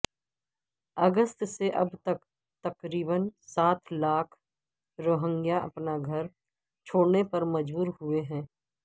اگست سے اب تک تقریبا سات لاکھ روہنگیا اپنا گھر چھوڑنے پر مجبور ہوئے ہیں